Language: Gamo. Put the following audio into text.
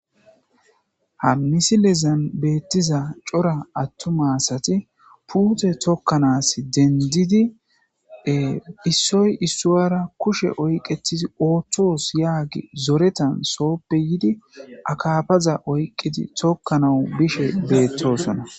Ha misilezan beettiza cora attu maasati puute tokkanas dendidie issoy issoyara kushe oyqetidi ooththoos yaagi zoretan sooppe yidi akaafaza oyqqidi tokkanawu bishe beettosona.